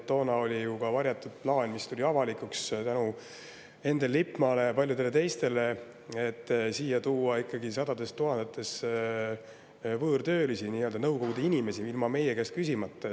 Toona oli ju ka varjatud plaan, mis tuli avalikuks tänu Endel Lippmaale ja paljudele teistele, et siia taheti tuua ikkagi sadades tuhandetes võõrtöölisi, nii-öelda Nõukogude inimesi, ilma meie käest küsimata.